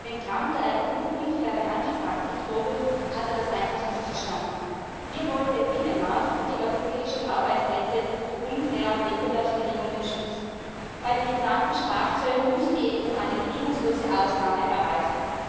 Wenn Trump der EU unfaire Handelspraktiken vorwirft, hat er das einfach nicht verstanden. Wir wollen den Binnenmarkt und die europäischen Arbeitsplätze vor unfairen Wettbewerbsbedingungen schützen. Bei den geplanten Strafzöllen muss die EU eine bedingungslose Ausnahme erreichen.